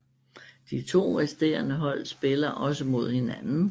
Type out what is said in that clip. De to resterende hold spiller også mod hinanden